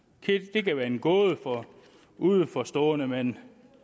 det kan være en gåde for udenforstående men